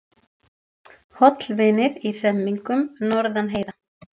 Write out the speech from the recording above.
Hollvinir í hremmingum norðan heiða